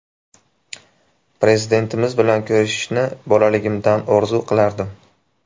Prezidentimiz bilan ko‘rishishni bolaligimdan orzu qilardim.